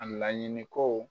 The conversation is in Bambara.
A laɲini ko.